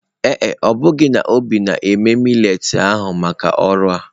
Ee e, ebughi n'obi na-eme mallet ahụ maka ọrụ a.